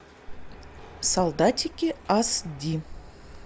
солдатики ас ди